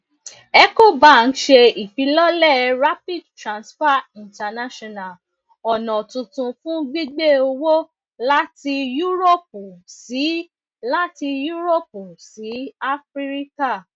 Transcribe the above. ecobank ṣe ifilọlẹ rapidtransfer international ọna tuntun fun gbigbe owo lati yuroopu si lati yuroopu si afirika